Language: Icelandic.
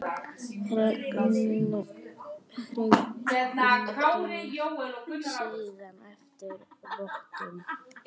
Hringir síðan eftir vottum.